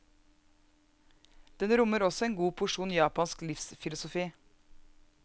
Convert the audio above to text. Den rommer også en god porsjon japansk livsfilosofi.